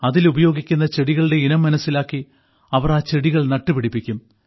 അതിൽ ഉപയോഗിക്കുന്ന ചെടികളുടെ ഇനം മനസ്സിലാക്കി അവർ ആ ചെടികൾ നട്ടുപിടിപ്പിക്കും